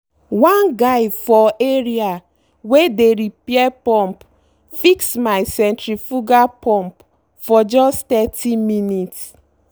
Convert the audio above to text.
one guy for areawey dey repair pumpfix my centrifugal pump for just thirty minutes.